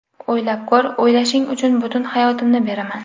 O‘ylab ko‘r, o‘ylashing uchun butun hayotimni beraman”.